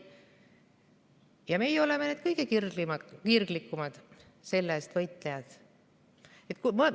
Ja meie oleme need kõige kirglikumad selle eest võitlejad!